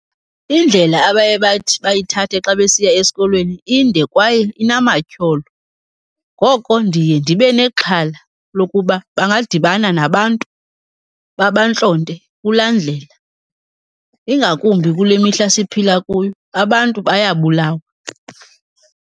Indlela abaye bathi bayithathe xa besiya esikolweni inde kwaye inamatyholo, ngoko ndiye ndibe nexhala lokuba bangadibana nabantu babantlonte kulaa ndlela. Ingakumbi kule mihla siphila kuyo, abantu bayabulawa.